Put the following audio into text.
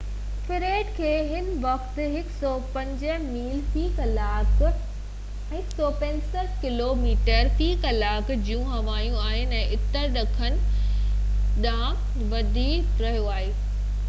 Fred کي هن وقت 105 ميل في ڪلاڪ 165 ڪلوميٽر في ڪلاڪ جون هوائون آهن ۽ اتر ڏکڻ ڪنڍ ڏانهن وڌي رهيو آهي